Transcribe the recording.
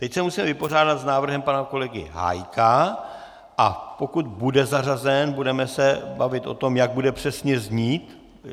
Teď se musíme vypořádat s návrhem pana kolegy Hájka, a pokud bude zařazen, budeme se bavit o tom, jak bude přesně znít.